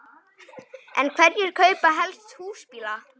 En hverjir kaupa helst húsbíla?